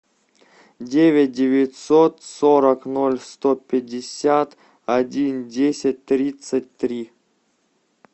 девять девятьсот сорок ноль сто пятьдесят один десять тридцать три